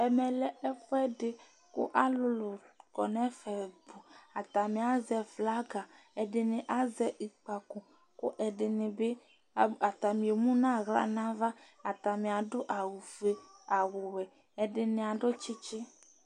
ɛmɛ lɛ ɛfu ɛdi kò alolo kɔ no ɛfɛ atani azɛ flaga ɛdini azɛ ɛzɔkpako kò ɛdini bi atani emu n'ala n'ava atani adu awu fue awu wɛ ɛdini adu tsitsi